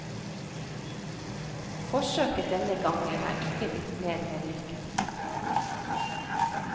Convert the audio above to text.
Forsøket denne gangen er ikke blitt mer vellykket.